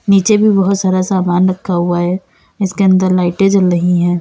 नीचे भी बहोत सारा सामान रखा हुआ है इसके अंदर लाइटे जल रही है।